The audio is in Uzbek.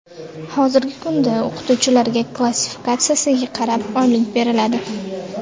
Hozirgi kunda o‘qituvchilarga klassifikatsiyasiga qarab oylik beriladi.